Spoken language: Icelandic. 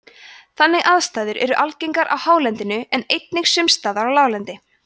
þannig aðstæður eru algengar á hálendinu en einnig sums staðar á láglendi